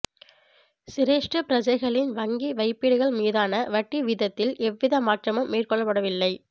சிரேஷ்ட பிரஜைகளின் வங்கி வைப்பீடுகள் மீதான வட்டி வீதத்தில் எவ்வித மாற்றமும் மேற்கொள்ளப்படவில்லை